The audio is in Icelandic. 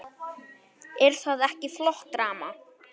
Er það ekki flott drama?